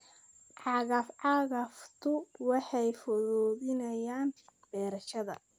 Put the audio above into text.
Cagaf-cagaftu waxay fududeeyaan beerashada.